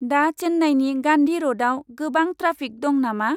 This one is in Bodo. दा चेन्नाइनि गान्धि रडाव गोबां ट्राफिक दं नामा?